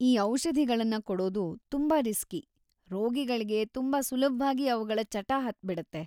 ಈ ಔಷಧಿಗಳನ್ನ ಕೊಡೋದು ತುಂಬಾ ರಿಸ್ಕಿ; ರೋಗಿಗಳ್ಗೆ ತುಂಬಾ ಸುಲಭ್ವಾಗಿ ಅವ್ಗಳ ಚಟ ಹತ್ಬಿಡತ್ತೆ.